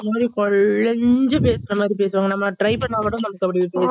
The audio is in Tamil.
ஒரு மாறி கொலஞ்சு பேசுற மாறி பேசுவாங்க நம்ம try பண்ணா கூட நமக்கு அப்படி